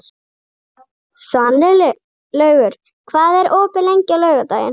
Svanlaugur, hvað er opið lengi á laugardaginn?